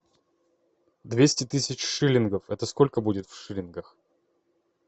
двести тысяч шиллингов это сколько будет в шиллингах